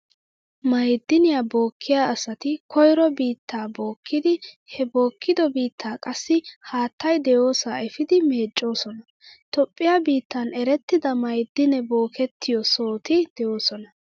Maa'idiniyaa bookkiya asati koyro biittaa bookkidi, he bookkido biittaa qassi haattay de'iyosaa efiidi meeccoosona. Toophphiyaa biittan erettida ma'idinee bookettiyo sohoti de"oosona.